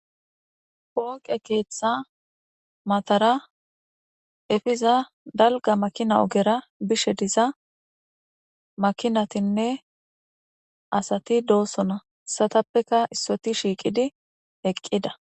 Pooqe keeththa matara efiza dalga makina ogera bishe diza makinatinne asati doosona satappeka issoti shiiqidi eqqida